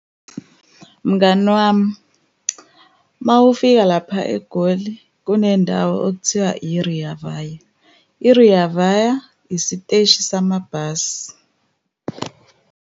Mngani wami, uma ufika lapha eGoli, kunendawo okuthiwa i-Rea Vaya. I-Rea Vaya isiteshi samabhasi.